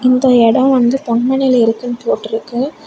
இந்த இடம் வந்து பொன்மனைல இருக்குன்னு போட்டிருக்கு.